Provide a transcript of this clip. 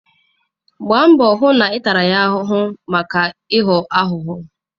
Gbaa mbọ hụ na ị tara ya ahụhụ maka ịghọ aghụghọ.